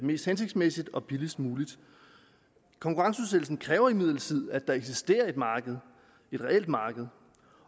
mest hensigtsmæssigt og billigst muligt konkurrenceudsættelsen kræver imidlertid at der eksisterer et reelt marked